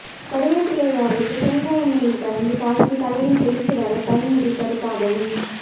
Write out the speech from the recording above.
கறிவேப்பிலை அரைத்து தேங்காய் எண்ணெயில் கலந்து காய்ச்சி தலையில் தேய்த்து வர தலைமுடி கருப்பாகவும்